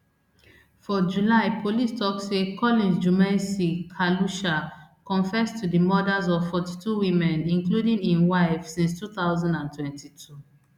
for july police tok say collins jumaisi khalusha confess to di murders of forty-two women including im wife since two thousand and twenty-two